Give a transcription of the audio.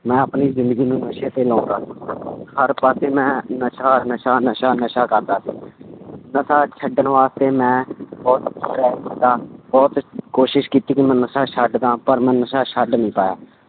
ਮੈਂ ਆਪਣੀ ਜ਼ਿੰਦਗੀ ਨੂੰ ਨਸ਼ੇ ਤੇ ਲਾਉਂਦਾ ਹਰ ਪਾਸੇ ਮੈਂ ਨਸ਼ਾ, ਨਸ਼ਾ, ਨਸ਼ਾ, ਨਸ਼ਾ ਕਰਦਾ ਸੀ ਨਸ਼ਾ ਛੱਡਣ ਵਾਸਤੇ ਮੈਂ ਬਹੁਤ ਬਹੁਤ ਕੋਸ਼ਿਸ਼ ਕੀਤੀ ਕਿ ਮੈਂ ਨਸ਼ਾ ਛੱਡ ਦੇਵਾਂ, ਪਰ ਮੈਂ ਨਸ਼ਾ ਛੱਡ ਨੀ ਪਾਇਆ,